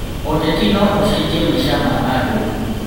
ũteti no ũcenjie maica ma andũ.